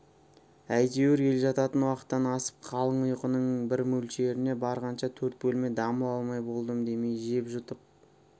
әйтеуір ел жататын уақыттан асып қалың ұйқының бір мөлшеріне барғанша төрт бөлме дамыл алмай болдым демей жеп жұтып